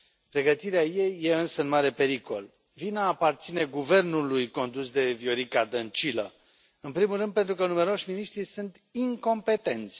Pregătirea ei este însă în mare pericol. Vina aparține guvernului condus de Viorica Dăncilă, în primul rând pentru că numeroși miniștri sunt incompetenți.